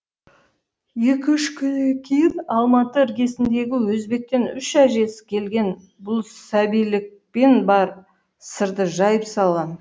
екі үш күннен кейін алматы іргесіндегі өзбектен үщ әжесі келген бұл сәбилікпен бар сырды жайып салған